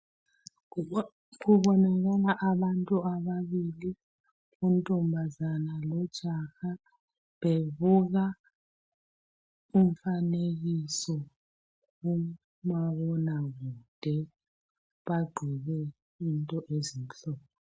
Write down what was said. Kubonakala abantu ababili untombazane lojaha bebuka umfanekiso kumabona kude bagqoke into ezimhlophe.